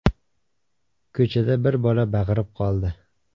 Ko‘chada bir bola baqirib qoldi.